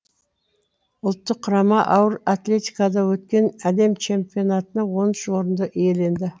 ұлттық құрама ауыр атлетикадан өткен әлем чемпионатында он үш орынды иеленді